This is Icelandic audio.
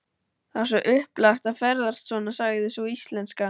Það er svo upplagt að ferðast svona, sagði sú íslenska.